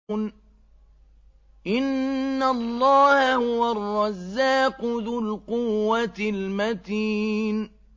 إِنَّ اللَّهَ هُوَ الرَّزَّاقُ ذُو الْقُوَّةِ الْمَتِينُ